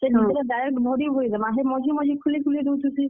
ହେ ଭିତ୍ ରେ direct ଭରି ଭରି ଦେମା, ହେ ମଝି ମଝି ଖୁଲି ଖୁଲି ଦଉଥିସି।